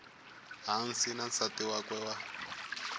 hansi na nsati wakwe wa